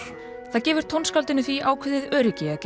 það gefur tónskáldinu því ákveðið öryggi að